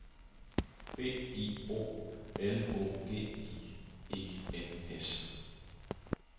B I O L O G I E N S